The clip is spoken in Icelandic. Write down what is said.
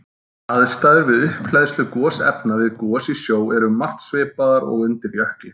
Aðstæður við upphleðslu gosefna við gos í sjó eru um margt svipaðar og undir jökli.